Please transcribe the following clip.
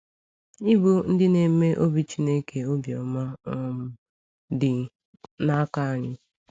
Ịbụ ‘Ndị Na-eme Obi Chineke Obi Ọma’ um Dị N’aka Anyị.